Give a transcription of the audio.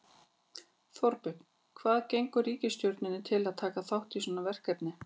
Þorbjörn, hvað gengur ríkisstjórninni til að taka þátt í svona verkefni?